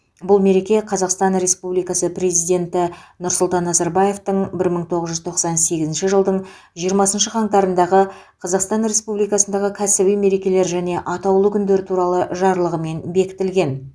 бұл мереке қазақстан республикасы президенті нұрсұлтан назарбаевтың бір мың тоғыз жүз тоқсан сегізінші жылдың жиырмасыншы қаңтарындағы қазақстан республикасындағы кәсіби мерекелер және атаулы күндер туралы жарлығымен бекітілген